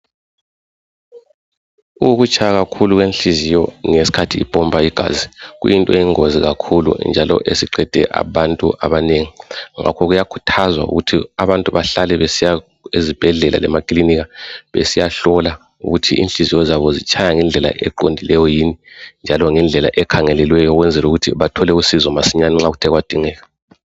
Ukutshaya kakhulu kwenhliziyo ngeskhathi ipompa igazi. Kuyinto eyingozi kakhulu njalo esiqede abantu abanengi. Ngakho kuyakhuthazwa ukuthi abantu bahlale besiya ezibhedlela lemaklinika besiyahlola ukuthi inhliziyo zabo zitshaya ngendlela eqondileyo yini, njalo ngendlela ekhangelelweyo, ukwenzel' ukuthi bathole usizo masinyani nxa kuthe kwadingeka.